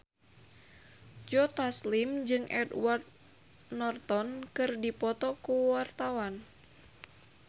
Joe Taslim jeung Edward Norton keur dipoto ku wartawan